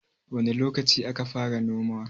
wane lokaci aka fara noma